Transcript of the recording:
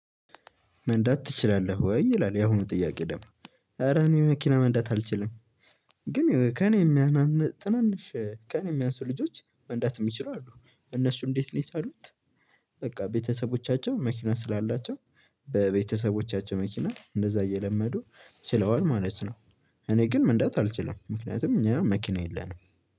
መንዳት ትችላለህ ወይ ይላል ያሁኑ ጥያቄ ደም ኧረ እኔ መኪና መንዳት አልችልም። ግን ከእኔ የሚያንን ትናንሽ ከእኔ የሚያንሱ ልጆች መንዳት የሚችሉ አሉ። እነሱ እንዴት ነው የቻሉት በቃ ቤተሰቦቻቸው መኪና ስላላቸው በቤተሰቦቻቸው መኪና እንደዛ እየለመዱ ችለዋል ማለት ነው። እኔ ግን ምንዳት አልችልም። ምክንያቱም እኛ መኪና የለንም።